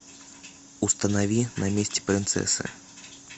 установи на месте принцессы